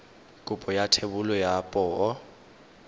kopo ya thebolo ya poo